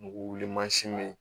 N'u wuli mansin bɛ yen